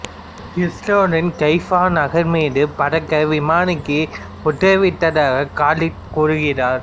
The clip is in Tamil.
இசுரேலின் கைஃபா நகர் மீது பறக்க விமானிக்கு உத்தரவிட்டதாக கலீத் கூறுகிறார்